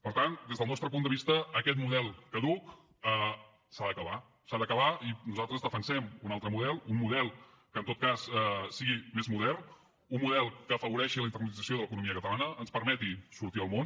per tant des del nostre punt de vista aquest model caduc s’ha d’acabar s’ha d’acabar i nosaltres defensem un altre model un model que en tot cas sigui més modern un model que afavoreixi la internacionalització de l’economia catalana ens permeti sortir al món